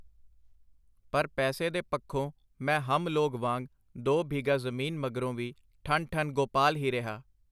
ਪਰ ਪੈਸੇ ਦੇ ਪੱਖੋਂ ਮੈਂ ਹਮ ਲੋਗ ਵਾਂਗ ਦੋ ਬਿਘਾ ਜ਼ਮੀਨ ਮਗਰੋਂ ਵੀ ਠੰਨ-ਠੰਨ ਗੋਪਾਲ ਹੀ ਰਿਹਾ.